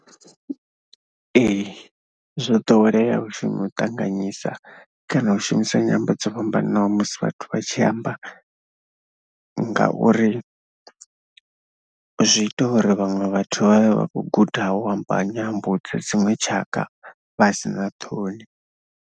Ee, zwo ḓowelea uri u ṱanganyisa kana u shumisa nyambo dzo fhambananaho musi vhathu vha tshi amba ngauri zwi ita uri vhaṅwe vhathu vha vhe vha khou guda u amba nyambo dza dziṅwe tshaka vha si na ṱhoni.